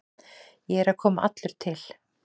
Ég er að koma allur til.